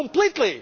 One of you